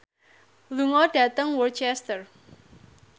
lunga dhateng Worcester